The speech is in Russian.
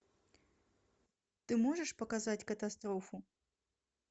ты можешь показать катастрофу